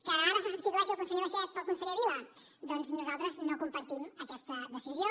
que ara se substitueixi el conseller baiget pel conseller vila doncs nosaltres no compartim aquesta decisió